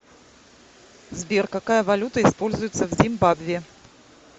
сбер какая валюта используется в зимбабве